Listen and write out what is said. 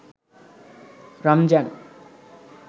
Ramzan